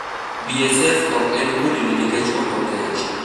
BSF ok en kudni nikech okokech